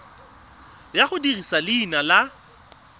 ya go dirisa leina la